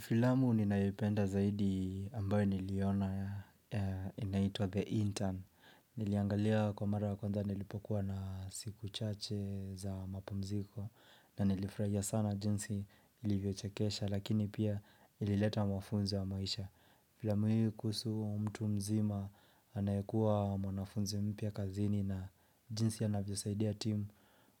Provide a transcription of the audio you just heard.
Filamu ninayoipenda zaidi ambayo niliona, inaitwa The Intern. Niliangalia kwa mara kwanza nilipokuwa na siku chache za mapumziko na nilifurahia sana jinsi ilivyochekesha lakini pia ilileta mafunzo ya maisha. Filamu hiyo kuhusu huyo mtu mzima anayekuwa mwanafunzi mpya kazini na jinsi anavyosaidia timu